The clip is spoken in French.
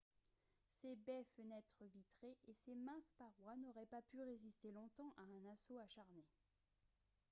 ses baies fenêtres vitrées et ses minces parois n'auraient pas pu résister longtemps à un assaut acharné